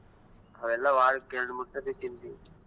ಅವೆಲ್ಲಾ ವಾರಕ್ಕ್ ಎರಡ್ ಮೂರ್ ಸರ್ತಿ ತಿಂತಿವಿ.